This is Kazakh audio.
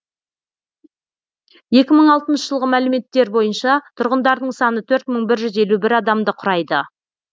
екі мың алтыншы жылғы мәліметтер бойынша тұрғындарының саны төрт мың бір жүз елу бір адамды құрайды